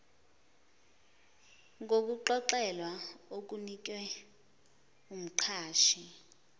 ngokuxolelwa okunikwe umqashi